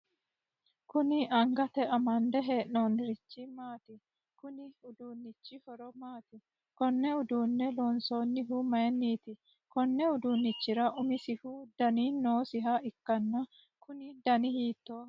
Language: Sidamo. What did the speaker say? Kunni angate amande hee'noonnirichi maati? Kunni uduunichi horo maati? Konne uduune loonsoonnihu mayinniiti? Konni uduunnichira umisihu danu noosiha ikanna kunni danni hiittooho?